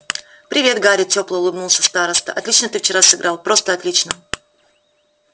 привет гарри тепло улыбнулся староста отлично ты вчера сыграл просто отлично